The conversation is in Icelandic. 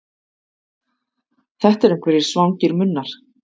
Þetta eru einhverjir svangir munnar.